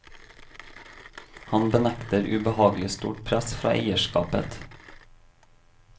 Han benekter ubehagelig stort press fra eierskapet.